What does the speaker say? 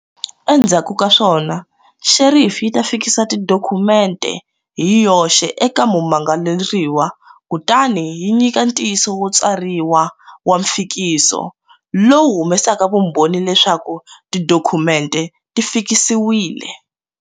Endzhaku ka swona xerifi yi ta fikisa tidokhumente hi yoxe eka mumangaleriwa kutani yi nyika ntiyisiso wo tsariwa wa mfikiso, lowu humesaka vumbhoni leswaku tidokhumente ti fikisiwile.